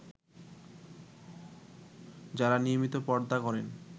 যারা নিয়মিত পর্দা করেন